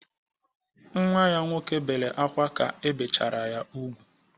Nwa ya nwoke bere akwa ka ebechara ya ùgwú.